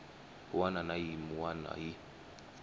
wana na yin wana hi